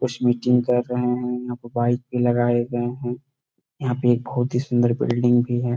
कुछ मीटिंग कर रहे हैं यहाँ पर बाइक भी लगे हुए हैं यहाँ पर एक बहुत ही सुंदर बिल्डिंग भी है ।